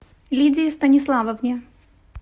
лидии станиславовне